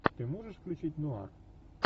ты можешь включить нуар